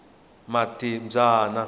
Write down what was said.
matibyana